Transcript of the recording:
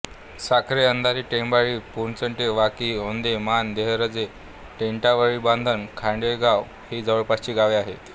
साखरे अंधारी टेंभोळी पोचडे वाकी ओंदे माण देहरजे टेटावळीबांधण खांडेघर ही जवळपासची गावे आहेत